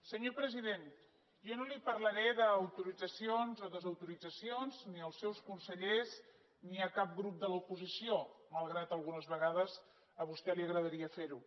senyor president jo no li parlaré d’autoritzacions o desautoritzacions ni als seus consellers ni a cap grup de l’oposició malgrat que algunes vegades a vostè li agradaria fer ho